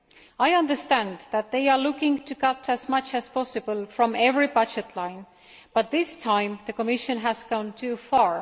I understand that it is looking to cut as much as possible from every budget line, but this time the Commission has gone too far.